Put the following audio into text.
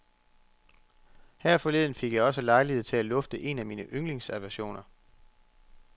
Her forleden fik jeg også lejlighed til at lufte en af mine yndlingsaversioner.